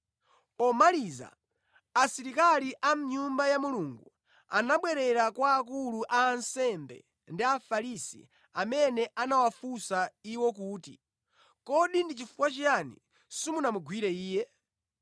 Pomaliza asilikali a mʼNyumba ya Mulungu anabwerera kwa akulu a ansembe ndi Afarisi amene anawafunsa iwo kuti, “Kodi ndi chifukwa chiyani simunamugwire Iye?”